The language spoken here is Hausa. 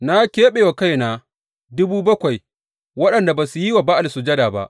Na keɓe wa kaina dubu bakwai waɗanda ba su yi wa Ba’al sujada ba.